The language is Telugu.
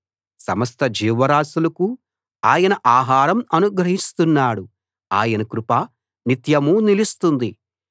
సమస్త జీవరాశులకు ఆయన ఆహారం అనుగ్రహిస్తున్నాడు ఆయన కృప నిత్యమూ నిలుస్తుంది